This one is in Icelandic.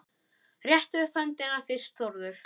Rétta upp höndina fyrst Þórður.